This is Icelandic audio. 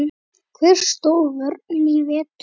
Hvernig stóð vörnin í vetur?